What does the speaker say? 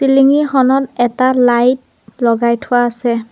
চিলিঙি খনত এটা লাইট লগাই থোৱা আছে।